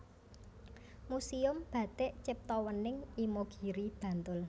Muséum Batik Ciptowening Imogiri Bantul